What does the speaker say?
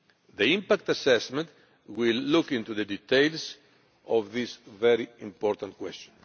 The impact assessment will look into the details of this important question.